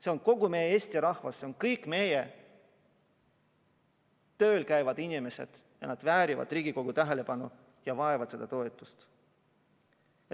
See on kogu meie Eesti rahvas, need on kõik meie tööl käivad inimesed ja nad väärivad Riigikogu tähelepanu ja vajavad seda toetust.